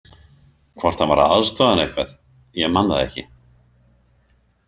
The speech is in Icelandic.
Hvort hann var að aðstoða hana eitthvað, ég man það ekki.